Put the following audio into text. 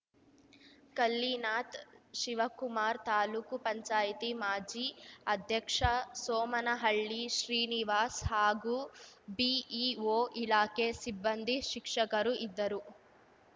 ಕಲ್ಲಿನಾಥ್‌ ಶಿವಕುಮಾರ್‌ ತಾಲೂಕುಪಂಚಾಯ್ತಿಮಾಜಿ ಅಧ್ಯಕ್ಷ ಸೋಮನಹಳ್ಳಿ ಶ್ರೀನಿವಾಸ್‌ ಹಾಗೂ ಬಿಇಓ ಇಲಾಖೆ ಸಿಬ್ಬಂದಿ ಶಿಕ್ಷಕರು ಇದ್ದರು